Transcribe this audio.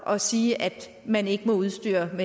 og sige at man ikke må udstyre